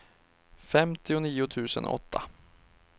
femtionio tusen åtta